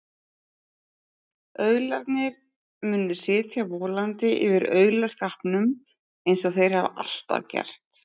Aularnir munu sitja volandi yfir aulaskapnum eins og þeir hafa alltaf gert.